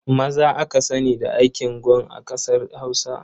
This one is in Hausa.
Maza aka sani da aikin gon a ƙasar Hausa.